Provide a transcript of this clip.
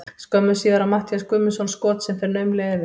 Skömmu síðar á Matthías Guðmundsson skot sem fer naumlega yfir.